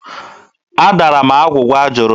Adara m agwụgwa a jụrụ m.